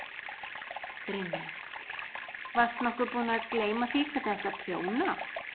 Brynja: Varst nokkuð búin að gleyma því hvernig átti að prjóna?